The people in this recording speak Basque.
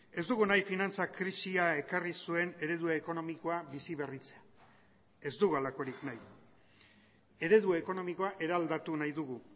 ez dugu nahi finantza krisia ekarri zuen eredu ekonomikoa bizi berritzea ez dugu halakorik nahi eredu ekonomikoa eraldatu nahi dugu